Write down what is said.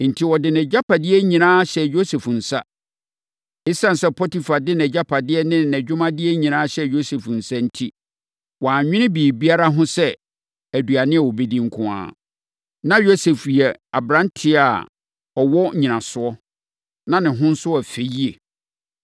Enti, ɔde nʼagyapadeɛ nyinaa hyɛɛ Yosef nsa. Esiane sɛ Potifar de nʼagyapadeɛ ne nʼadwumadeɛ nyinaa hyɛɛ Yosef nsa enti, wannwene biribiara ho sɛ aduane a ɔbɛdi nko ara. Na Yosef yɛ aberanteɛ a ɔwɔ nnyinasoɔ, na ne ho nso yɛ fɛ yie.